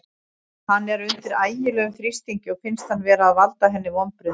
Hann er undir ægilegum þrýstingi og finnst hann vera að valda henni vonbrigðum.